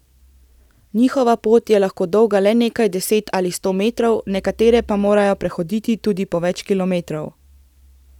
Njihova pot je lahko dolga le nekaj deset ali sto metrov, nekatere pa morajo prehoditi tudi po več kilometrov.